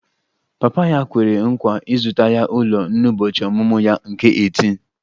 Papa ya kwere nkwa ịzụta ya ụlọ n'ụbọchị ọmụmụ ya nke 18